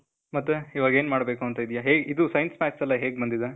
ಮತ್ತೇ, ಇವಾಗ್ ಏನ್ ಮಾಡ್ಬೇಕೂಂತ ಇದೀಯ? ಹೇಗ್, ಇದು science. math's ಎಲ್ಲ ಹೇಗ್ ಬಂದಿದೆ?